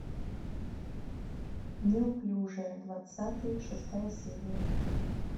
неуклюжая двадцатый шестая серия